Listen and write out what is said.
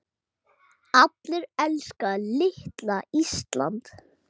Allir elska litla Ísland.